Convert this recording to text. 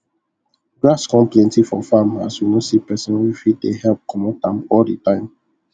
grass con plenty for farm as we no see pesin wey fit dey help commot am all the time